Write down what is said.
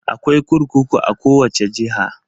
Akwai kurkuku a kowace jiha.